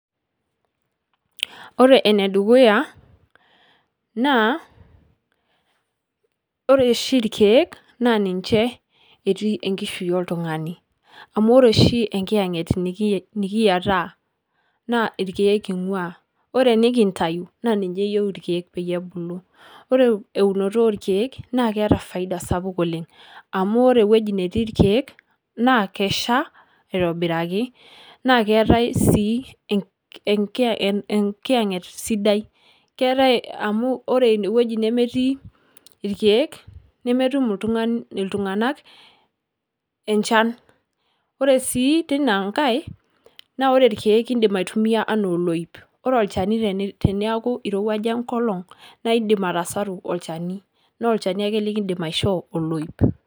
Ore ene dukuya naa, ore oshi ilkeek naa ninje etii enkishui oltungani, amu ore oshi enkiyanget nikiyiataa naa ilkeek einguaa, ore enikintayu naa ninye eyieu ilkeek peyie ebulu ,ore eunoto oolkeeke naa keeta faida sapuk oleng amu ore ewuaji netii ilkeek naa kesha itobiraki, naa keetai sii enkiyanget sidai keetae amu ore inewueji nemetii ilkeek nemetum iltunganak enchan , ore sii teina nkae naa ore ilkeek indim aitumiya anaa oloip ,ore olchani teneeku eirowuaja enkolong naa indim atasaru olchani naa olchani ake linkidim aishoo oloip.